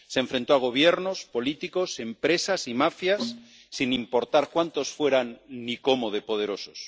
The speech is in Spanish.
se enfrentó a gobiernos, políticos, empresas y mafias, sin importar cuántos fueran ni cómo de poderosos.